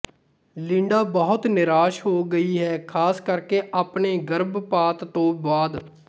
Linda ਬਹੁਤ ਨਿਰਾਸ਼ ਹੋ ਗਈ ਹੈ ਖ਼ਾਸ ਕਰਕੇ ਆਪਣੇ ਗਰਭਪਾਤ ਤੋਂ ਬਾਅਦ